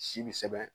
Si bi sɛbɛn